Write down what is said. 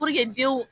denw